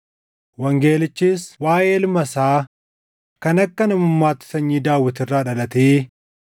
Wangeelichis waaʼee ilma isaa kan akka namummaatti sanyii Daawit irraa dhalatee,